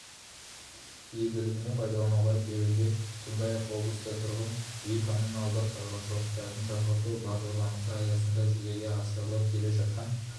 игілігіне пайдалануға беруде сондай-ақ облыста тұрғын үй-коммуналдық шаруашылықтарын жаңғырту бағдарламасы аясындағы жүзеге асырылып келе жатқан